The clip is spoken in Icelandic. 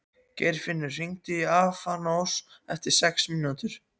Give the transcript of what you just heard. Geirfinnur, hringdu í Alfons eftir sex mínútur.